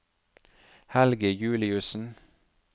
Helge Juliussen